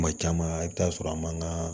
Kuma caman i bi taa sɔrɔ a man ka